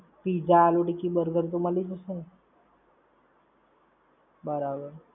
Pizza, aloo tikki, burger તો મળી જશે ને? બરાબર.